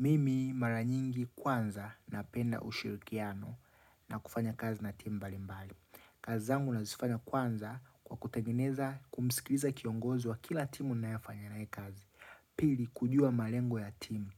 Mimi mara nyingi kwanza napenda ushirikiano na kufanya kazi na timu mbali mbali. Kazi zangu nazifanya kwanza kwa kutegeneza kumisikiliza kiongozi wa kila timu ninefanya naye kazi. Pili, kujua malengo ya timu.